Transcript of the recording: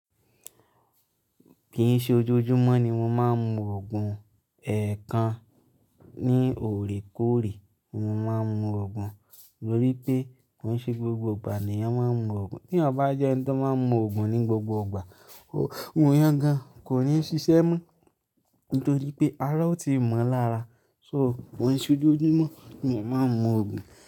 Kì í ṣe ojoojúmọ́ ni mo máa ń mu òògùn, èèkàn ní ọ̀̀rẹ́kọ̀rẹ́ mo máa ń mu òògùn mo rí pé ko ṣe gbogbo ìgbà ni èèyàn máa ń mu òògùn. Tí èèyàn bá jẹ́ ẹni tó máa ń mu òògùn ní gbogbo ìgbà, Òògùn yẹn gan-an kò ní ṣiṣẹ́ mọ́ nítorí pé ará ọ ti mọ̀ lára. So kò ṣe ojoojúmọ́ ni èèyàn màá ń mu òògùn.